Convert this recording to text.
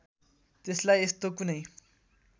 त्यसलाई यस्तो कुनै